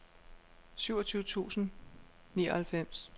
syvogtyve tusind og nioghalvfems